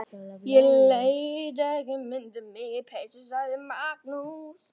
Ég læt ekki mynda mig í peysu, sagði Magnús.